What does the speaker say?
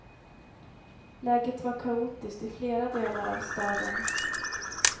Läget var kaotiskt i flera delar av staden.